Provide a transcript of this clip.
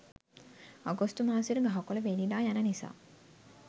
අගෝස්තු මාසෙට ගහකොල වේලිලා යන නිසා